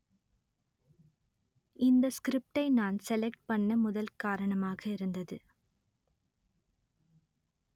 இந்த ஸ்கிரிப்டை நான் செலக்ட் பண்ண முதல் காரணமாக இருந்தது